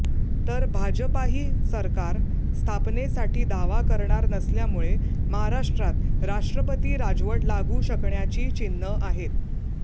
तर भाजपाही सरकार स्थापनेसाठी दावा करणार नसल्यामुळे महाराष्ट्रात राष्ट्रपती राजवट लागू शकण्याची चिन्हं आहेत